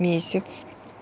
месяц